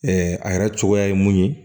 a yɛrɛ cogoya ye mun ye